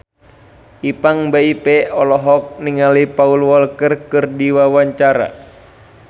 Ipank BIP olohok ningali Paul Walker keur diwawancara